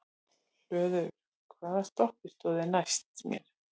Hlöður, hvaða stoppistöð er næst mér?